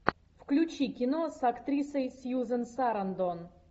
включи кино с актрисой сьюзен сарандон